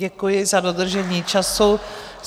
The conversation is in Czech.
Děkuji za dodržení času.